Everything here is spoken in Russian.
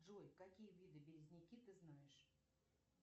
джой какие виды березняки ты знаешь